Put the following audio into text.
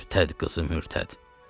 Mürtəd qızı mürtəd!